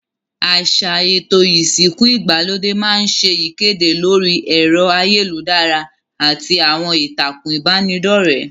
Àsà èto ìsìnku ìgbàlódé ma n se ìkédè lórí èro ayélujárá àti àwon ìtàkùn ìbànidọ́rẹ́